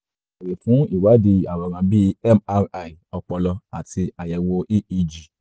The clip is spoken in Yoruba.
ó lè béèrè fún ìwádìí àwòrán bí mri ọpọlọ àti àyẹ̀wò eeg